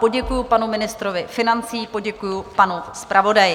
Poděkuji panu ministrovi financí, poděkuji panu zpravodaji.